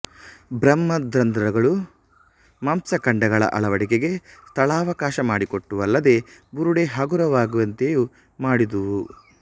ಬೃಹದ್ರಂಧ್ರಗಳು ಮಾಂಸಖಂಡಗಳ ಅಳವಡಿಕೆಗೆ ಸ್ಥಳಾವಖಾಸ ಮಾಡಿಕೊಟ್ಟುವಲ್ಲದೆ ಬುರುಡೆ ಹಗುರವಾಗುವಂತೆಯೂ ಮಾಡಿದುವು